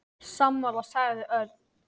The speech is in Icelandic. Sammála sagði Örn.